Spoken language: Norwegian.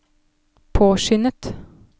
påskyndet